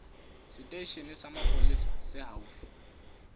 seteisheneng sa mapolesa se haufi